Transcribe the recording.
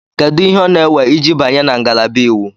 Kedu ihe ọ na-ewe iji banye na ngalaba Iwu?